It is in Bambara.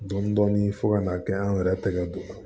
Dɔndɔni fɔ ka n'a kɛ an yɛrɛ tɛgɛ don